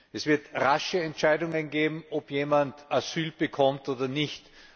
Es wird rasche Entscheidungen geben, ob jemand Asyl bekommt oder nicht.